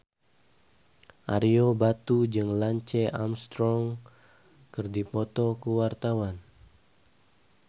Ario Batu jeung Lance Armstrong keur dipoto ku wartawan